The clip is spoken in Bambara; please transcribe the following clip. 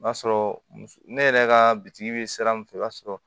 O b'a sɔrɔ ne yɛrɛ ka bitigi bɛ sira min fɛ o b'a sɔrɔ